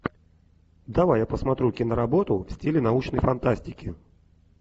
давай я посмотрю киноработу в стиле научной фантастики